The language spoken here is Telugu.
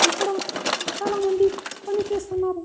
ఇక్కడ చాలామంది పని చేస్తున్నారు.